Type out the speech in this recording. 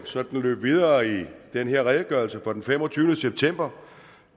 sådan løbe videre i den her redegørelse fra den femogtyvende september